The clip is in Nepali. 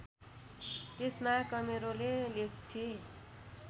त्यसमा कमेरोले लेख्थे